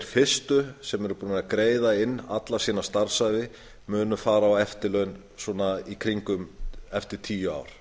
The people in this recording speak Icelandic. fyrstu sem eru búnir að greiða inn alla sína starfsævi munu fara á eftirlaun í kringum eftir tíu ár